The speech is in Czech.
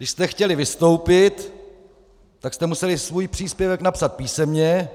Když jste chtěli vystoupit, tak jste museli svůj příspěvek napsat písemně,